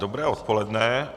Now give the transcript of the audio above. Dobré odpoledne.